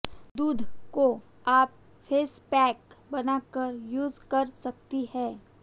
दूध को आप फेस पैक बना कर यूज़ कर सकती हैं